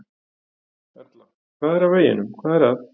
Erla: Hvað er að veginum, hvað er að?